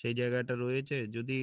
সেই জায়গাটা রয়েছে যদি